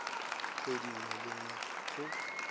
kgwedi nngwe le nngwe go